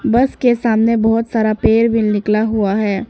बस के सामने बहोत सारा पेड़ भी निकला हुआ है।